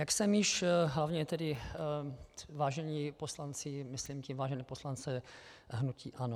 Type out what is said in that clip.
Jak jsem již - hlavně tedy vážení poslanci, myslím tím vážené poslance hnutí ANO.